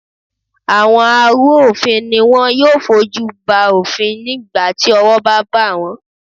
Àwọn arú òfin ni wọn yóò fojú ba òfin ní ìgbà tí owó bá bà wón.